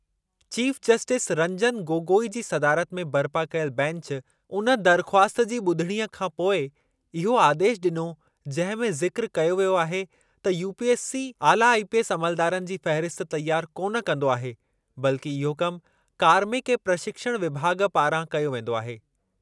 Chief justice Ranjan Gogoi जी सदारत में बरिपा कयल बैंच उन दरख़्वास्त जी शुनवाईअ खां पोइ इहो आदेशु ॾिनो जंहिं में ज़िक़्र करो वियो आहे त यूपीएससी, आला आईपीएस अमलदारनि जी फ़हरिस्त तयार कान कंदो आहे, बल्कि इहो कमु कार्मिक ऐं प्रशिक्षण विभाॻ पारां कयो वेंदो आहे।